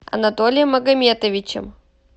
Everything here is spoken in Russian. анатолием магометовичем